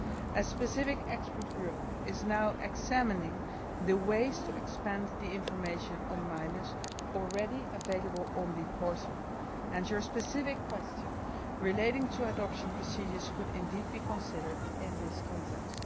A specific expert group is now examining the ways to expand information on minors already available on the Portal, and your specific question relating to adoption procedures could indeed be considered in this context.